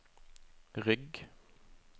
rygg